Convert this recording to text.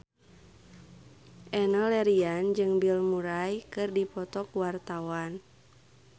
Enno Lerian jeung Bill Murray keur dipoto ku wartawan